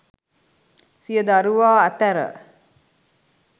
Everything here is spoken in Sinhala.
සිය දරුවා අතැර